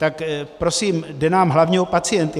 Tak prosím, jde nám hlavně o pacienty.